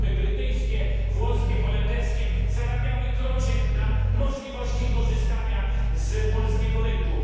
Firmy brytyjskie, włoskie, holenderskie zarabiały krocie na możliwości korzystania z polskiego rynku.